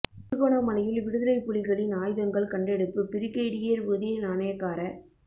திருகோணமலையில் விடுதலைப் புலிகளின் ஆயுதங்கள் கண்டெடுப்பு பிரிகேடியர் உதய நாணயக்கார